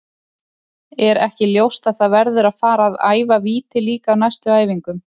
Er ekki ljóst að það verður að fara að æfa víti líka á næstu æfingum?